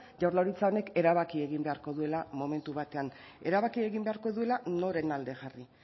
jaurlaritza honek erabaki egin beharko duela momentu batean erabaki egin beharko duela noren alde jarri